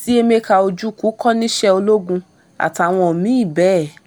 tí emeka ojukwu kọ́ níṣẹ́ ológun àtàwọn mìíì bẹ́ẹ̀